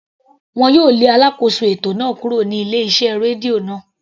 Wọn yóò lé alákóso ètò náà kúrò ní ilé iṣẹ́ rédíò náà.